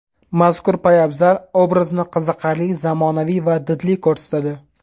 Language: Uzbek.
Mazkur poyabzal obrazni qiziqarli, zamonaviy va didli ko‘rsatadi.